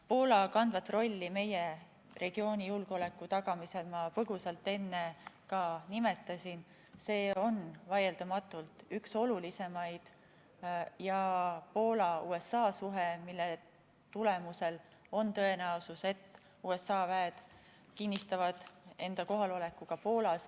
Poola kandvat rolli meie regiooni julgeoleku tagamisel ma enne juba põgusalt nimetasin, see on vaieldamatult üks olulisemaid, samuti Poola-USA suhted, mille tulemusel on tõenäosus, et USA väed kinnistavad enda kohaloleku Poolas.